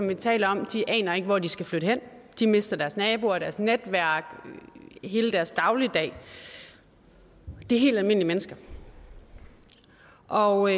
vi taler om aner ikke hvor de skal flytte hen de mister deres naboer deres netværk og hele deres dagligdag det er helt almindelige mennesker og